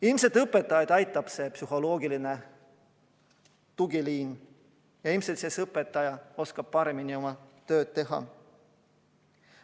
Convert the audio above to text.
Ilmselt õpetajaid aitab see psühholoogiline tugiliin ja ilmselt siis õpetaja oskab paremini oma tööd teha.